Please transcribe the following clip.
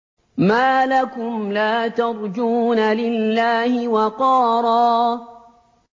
مَّا لَكُمْ لَا تَرْجُونَ لِلَّهِ وَقَارًا